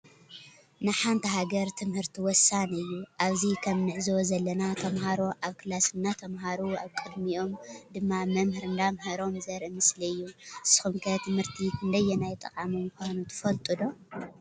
ንሓንቲ ሃገር ትምህርቲ ወሳኒ እዩ። አብዚ ከም እንዕዞቦ ዘለና ተምሃሮ አብ ከላስ እናተማህሩ አብ ቅድሚኦመ ድማ መምህር እናምህሮም ዘሪኢ ምስሊ እዩ። ንስኩም ከ ትምህሪቲ ክንደየናይ ጠቃሚ ምካኑ ትፈልጡ ዶ?